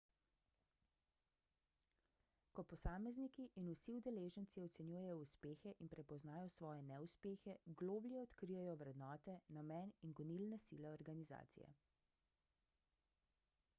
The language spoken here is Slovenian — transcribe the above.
ko posamezniki in vsi udeleženci ocenjujejo uspehe in prepoznajo svoje neuspehe globlje odkrijejo vrednote namen in gonilne sile organizacije